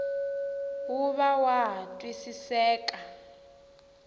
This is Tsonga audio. wu va wa ha twisiseka